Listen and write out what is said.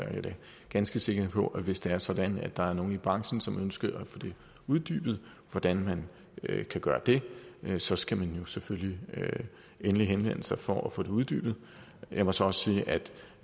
ganske sikker på at hvis det er sådan at der er nogle i branchen som ønsker at få uddybet hvordan man kan gøre det så skal man jo selvfølgelig endelig henvende sig for at få det uddybet jeg må så sige at